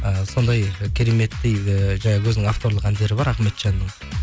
і сондай кереметтей ііі жаңағы өзінің авторлық әндері бар ахметжанның